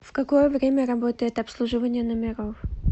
в какое время работает обслуживание номеров